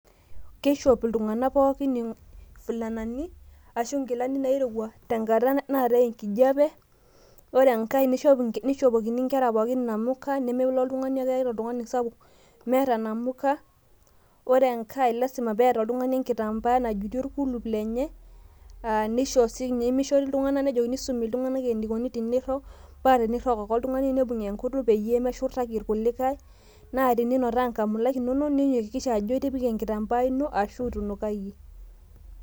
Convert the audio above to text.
keishop iltungank pookin ifulanani, aashu inkilani naairowua tenkata naatae enkjiape, ore enkae nishopokini nkera pookin inamuka. nemelo oltungani meeta ata oltungani sapuk meeta namuka, ore enkae lasima pee eeta oltungani enkitampaa najutie orkulup lenye, nisumi iltungank eneikoni teneirok. paa tenirok ake oltungani nibug' enkutuk peyie meshurtaki irkulikae. naa teninotaa nkamulak inonok niyakiksha jo itipika enkitambaa ino ashu itunukayie.